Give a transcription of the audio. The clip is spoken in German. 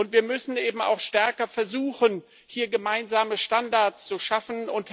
Wir müssen auch stärker versuchen, hier gemeinsame Standards zu schaffen.